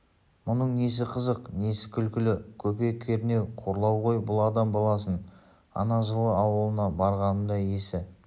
мұның несі қызық несі күлкі көпе-көрнеу қорлау ғой бұл адам баласын ана жылы ауылына барғанымда есі